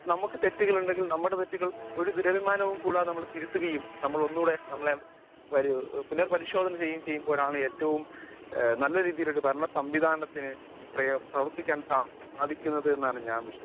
speaker 1 നമ്മക്ക് തെറ്റുകളുണ്ടെങ്കിൽ നമ്മുടെ തെറ്റുകൾ ഒരു ദുരഭിമാനവും കൂടാതെ തിരുത്തുകയും നമ്മൾ ഒന്നുകൂടെ നമ്മളെ പുനർ പരിശോധന ചെയ്യുമ്പോഴാണ് ഏറ്റവും നല്ല രീതിയിൽ ഒരു ഭരണ സംവിധാനത്തിനു പ്രവർത്തിക്കാൻ സാധിക്കുന്നത് എന്നാണ് ഞാൻ വിശ്വസിക്കുന്നത്